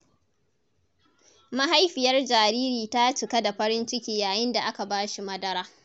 Mahaifiyar jariri ta cika da farin ciki yayin da aka ba shi madara.